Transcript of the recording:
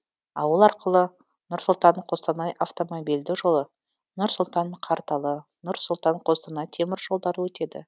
ауыл арқылы нұр сұлтан қостанай автомобильді жолы нұр сұлтан карталы нұр сұлтан қостанай темір жолдары өтеді